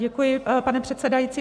Děkuji, pane předsedající.